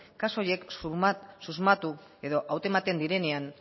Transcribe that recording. kasu horiek susmatu edo hautematen direnean